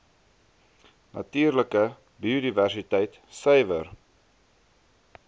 natuurlike biodiversiteit suiwer